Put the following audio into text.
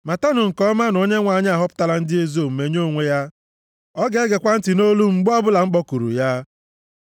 Matanụ nke ọma na Onyenwe anyị ahọpụtala ndị ezi omume nye onwe ya; ọ ga-egekwa ntị nʼolu m mgbe ọbụla m kpọkuru ya.